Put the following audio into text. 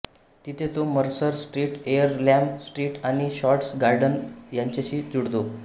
तिथे तो Mercer street Earlham street आणि शॉर्ट्स गार्डन यांच्याशी जुळतो